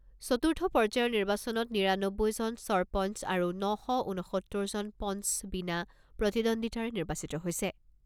চতুৰ্থ পৰ্যায়ৰ নিৰ্বাচনত নিৰানব্বৈজন চৰপঞ্চ আৰু ন শ ঊনসত্তৰজন পঞ্চ বিনা প্ৰতিদ্বন্দ্বিতাৰে নিৰ্বাচিত হৈছে।